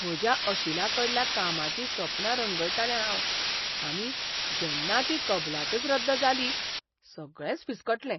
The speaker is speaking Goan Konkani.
म्हज्या अशिलाकडल्या कामाचीं सपनां रंगयतालें हांव आनी जेन्ना ती कबलातच रद्द जाली, सगळेंच फिसकटलें.